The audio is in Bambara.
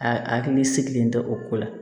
A hakili sigilen tɛ o ko la